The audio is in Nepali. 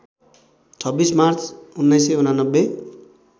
२६ मार्च १९८९